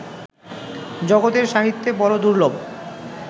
জগতের সাহিত্যে বড় দুর্লভ